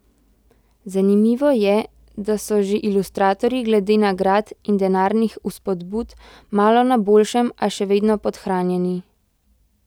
Zanimivo je, da so že ilustratorji glede nagrad in denarnih vzpodbud malo na boljšem, a še vedno podhranjeni.